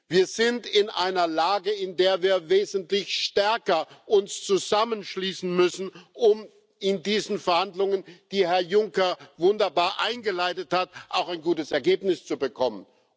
Wir sind in einer Lage, in der wir uns wesentlich stärker zusammenschließen müssen, um in diesen Verhandlungen, die Herr Juncker wunderbar eingeleitet hat, auch ein gutes Ergebnis zu bekommen.